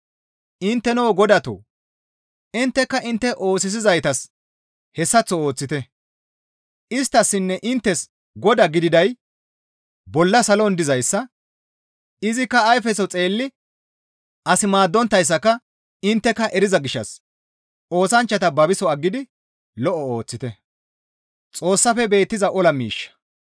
Intteno godatoo! Intteka intte oosisizaytas hessaththo ooththite; isttassinne inttes Godaa gididay bolla salon dizayssa; izikka ayfeso xeelli as maaddonttayssaka intteka eriza gishshas oosanchchata babiso aggidi lo7o ooththite.